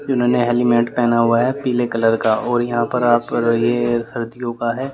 इन्होने एलिमेंट पहना हुआ है पीले कलर का और यहां पर ये सर्दियों का है।